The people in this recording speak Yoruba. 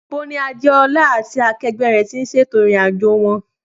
Níbo ni Adéọlá lá àti akẹgbẹ́ rẹ̀ ti ṣètò ìrìn-àjò wọn?